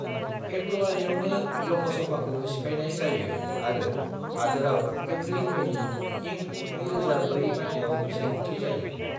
फेब्रुवारियावनो लोकसभाखौ सिफाइनाय जायो आरो हादोराव एफ्रिल-मेनि इं 2004 माइथायाव बिसायख'थि जायो।